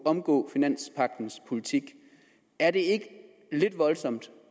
at omgå finanspagtens politik er det ikke lidt voldsomt